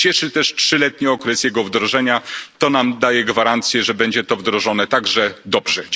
Cieszy też trzyletni okres jego wdrożenia, to nam daje gwarancję, że będzie to wdrożone także dobrze.